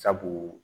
Sabu